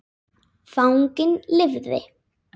Fanginn lifði.